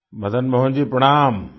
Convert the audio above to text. मदन मोहन जी प्रणाम